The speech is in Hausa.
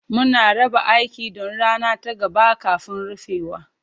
Muna raba aiki don rana ta gaba kafin rufewa.